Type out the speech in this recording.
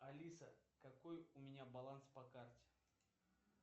алиса какой у меня баланс по карте